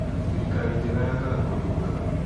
Thirikari njega yakaga kũndũ kwega.